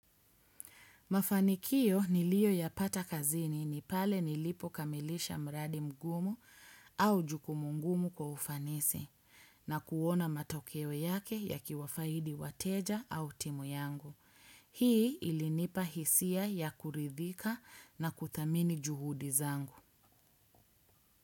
Mafanikio niliyo yapata kazini ni pale nilipo kamilisha mradi mgumu au jukumu ngumu kwa ufanisi na kuona matokeo yake yakiwafaidi wateja au timu yangu. Hii ilinipa hisia ya kuridhika na kuthamini juhudi zangu.